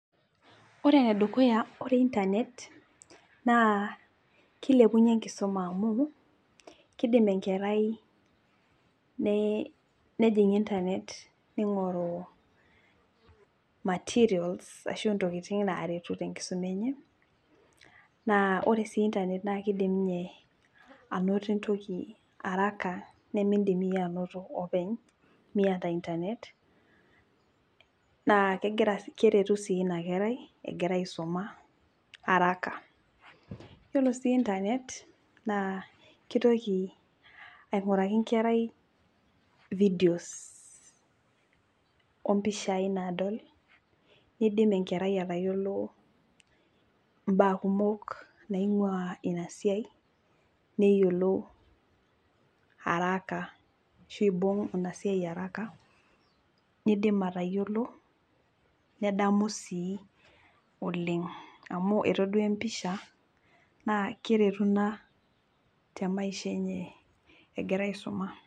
Ore enedukuya ,ore internet naa kilepunyie enkisuma amu kidim enkerai ne nejing internet ningoru materials ashu ntokitin naret tenkisuma enye naa ore sii internet naa kidim ninye anoto entoki araka nemidim iyie anoto openy miata internet naa kegira , keretu sii inakerai egira aisuma araka ,yiolo sii internet naa kitoki ainguraki enkerai , videos ompishai nadol ,nidim enkerai atayiolo mbaa kumok naingwaa inasiai neyiolou araka ashu ibung inasiai araka nidim atayiolo nedamu sii oleng amu etoduaa empisha naa keretu ina temaisha enye egira aisuma.